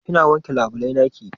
Kina wanke labulai naki?